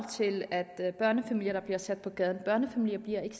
til at der er børnefamilier der bliver sat på gaden at børnefamilier ikke